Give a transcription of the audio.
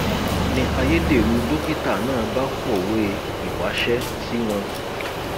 ni ayédèrú dókítà náà bá kọwé ìwáṣẹ sí wọn